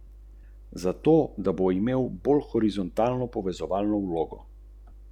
Minilo je več kot dvanajst ur.